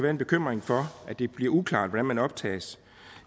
en bekymring for at det bliver uklart hvordan man optages